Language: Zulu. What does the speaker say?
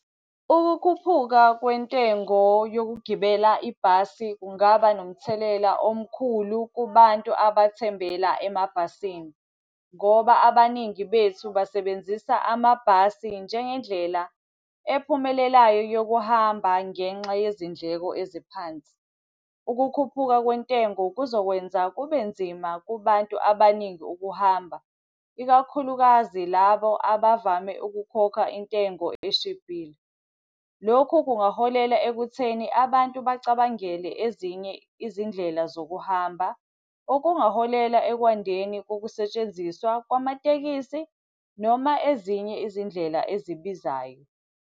Ukukhuphuka kwentengo yokugibela ibhasi, kungaba nomthelela omkhulu kubantu abathembela emabhasini ngoba abaningi bethu basebenzisa amabhasi njengendlela ephumelelayo yokuhamba ngenxa yezindleko eziphansi. Ukukhuphuka kwentengo kuzokwenza kube nzima kubantu abaningi ukuhamba, ikakhulukazi labo abavame ukukhokha intengo eshibhile. Lokhu kungaholela ekutheni abantu bacabangele ezinye izindlela zokuhamba. Okungaholela ekwandeni kokusetshenziswa kwamatekisi noma ezinye izindlela ezibizayo.